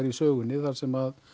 í sögunni þar sem